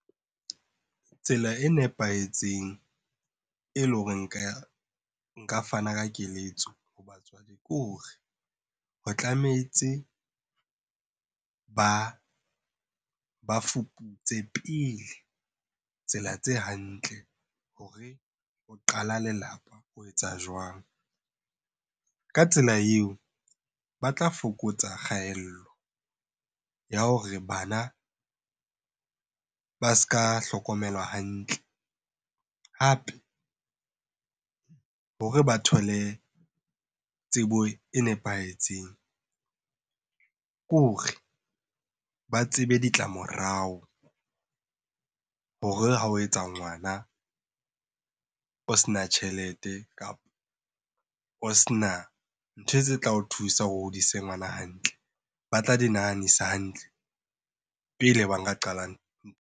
Tsela e nepahetseng e leng hore nka fana ka keletso ho batswadi, ke hore ho tlametse ba fuputse pele tsela tse hantle hore ho qala lelapa o etsa jwang? Ka tsela eo, ba tla fokotsa kgaello ya hore bana ba s'ka hlokomelwa hantle. Hape hore ba thole tsebo e nepahetseng kore ba tsebe ditlamorao hore ha o etsa ngwana o sena tjhelete, kapo o sena ntho tse tla o thusa o hodise ngwana hantle. Ba tla di nahanisa hantle pele ba nka qala .